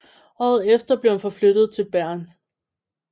Året efter blev han forflyttet til Bergen